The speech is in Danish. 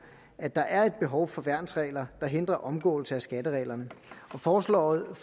at der er et behov for værnsregler der hindrer omgåelse af skattereglerne forslaget